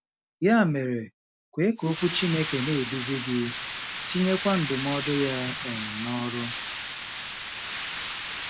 Ya mere, kwe ka Okwu Chineke na-eduzi gị, tinyekwa ndụmọdụ ya um n’ọrụ.